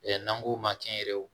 N'an k'o ma kɛnyɛrɛ ye